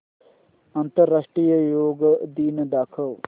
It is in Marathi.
आंतरराष्ट्रीय योग दिन दाखव